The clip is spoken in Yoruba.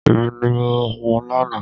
Ẹni ní mo hun lánàá.